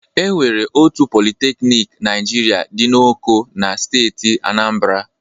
E nwere otu politeknik Naịjirịa dị n'Oko na steeti Aanambara.